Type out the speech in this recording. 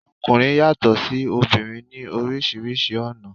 Ọkùnrin yàtò sí obìnrin ní orísìírísìí ọ̀nà